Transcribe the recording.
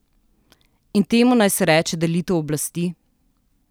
In temu naj se reče delitev oblasti?